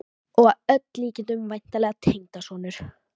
Og að öllum líkindum væntanlegur tengdasonur!